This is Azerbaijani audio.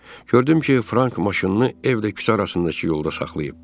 Gördüm ki, Frank maşınını evlə küçə arasındakı yolda saxlayıb.